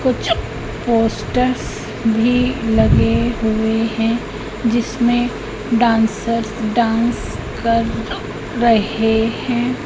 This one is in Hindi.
कुछ पोस्टर्स भी लगे हुए है जिसमें डांसर डांस कर रहे है।